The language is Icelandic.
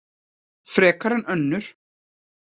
Frekar en önnur.